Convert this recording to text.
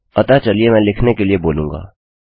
अतःचलिए मैं लिखने के लिए बोलूँगा